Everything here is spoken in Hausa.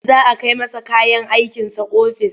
Za a kai masa kayan aikinsa ofis.